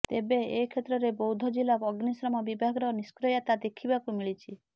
ତେବେ ଏ କ୍ଷେତ୍ରରେ ବୌଦ୍ଧ ଜିଲ୍ଲା ଅଗ୍ନିଶମ ବିଭାଗର ନିଷ୍କ୍ରିୟତା ଦେଖିବାକୁ ମିଳିଛି